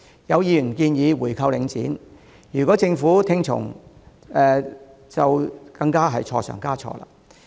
有議員建議回購領展，如果政府跟着做更是錯上加錯。